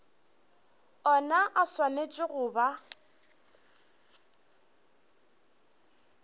ona a swanetše go ba